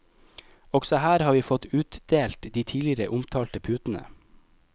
Også her har vi fått utdelt de tidligere omtalte putene.